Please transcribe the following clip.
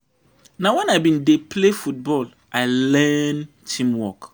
Na wen I bin dey play football I learn teamwork.